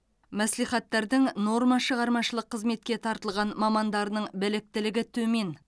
мәслихаттардың нормашығармашылық қызметке тартылған мамандарының біліктілігі төмен